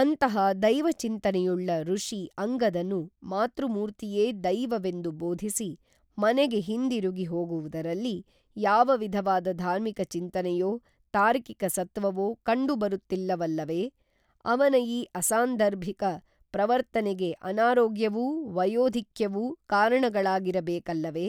ಅಂತಹ ದೈವ ಚಿಂತನೆಯುಳ್ಳ ಋಷಿ ಅಂಗದನು ಮಾತೃಮೂರ್ತಿಯೇ ದೈವವೆಂದು ಬೋಧಿಸಿ ಮನೆಗೆ ಹಿಂದಿರುಗಿ ಹೋಗುವುದರಲ್ಲಿ ಯಾವ ವಿಧವಾದ ಧಾರ್ಮಿಕ ಚಿಂತನೆಯೋ ತಾರ್ಕಿಕ ಸತ್ವವೋ ಕಂಡುಬರುತ್ತಿಲ್ಲವಲ್ಲವೇ ಅವನ ಈ ಅಸಾಂದರ್ಭಿಕ ಪ್ರವರ್ತನೆಗೆ ಅನಾರೋಗ್ಯವೂ ವಯೋಧಿಕ್ಯವೂ ಕಾರಣಗಳಾಗಿರಬೇಕಲ್ಲವೇ